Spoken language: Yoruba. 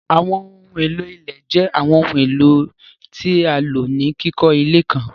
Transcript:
Àwọńohun elo ilẹ̀ jẹ́ Àwọńohun elo tí a ló ni kikọ ilẹ̀ kàn.